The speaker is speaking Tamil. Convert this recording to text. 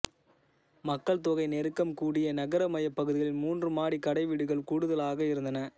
மக்கள்தொகை நெருக்கம் கூடிய நகர மையப் பகுதிகளில் மூன்று மாடிக் கடைவீடுகள் கூடுதலாக இருந்தன